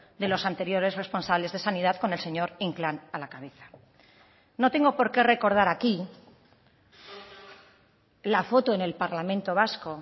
de los anteriores responsables de sanidad con el señor inclán a la cabeza no tengo por qué recordar aquí la foto en el parlamento vasco